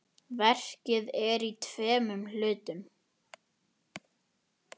Verkið er í tveimur hlutum.